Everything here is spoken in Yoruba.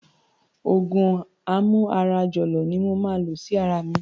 Òògùn amú ara jọ̀lọ̀ ni mo ma lò sí ara mi